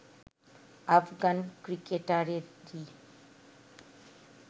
Afghan ক্রিকেটারেরই